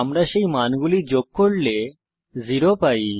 আমরা সেই মানগুলি যোগ করলে 0 পাই